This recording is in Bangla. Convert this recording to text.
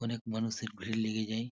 অনেক মানুষের ভীড় লেগে যায়।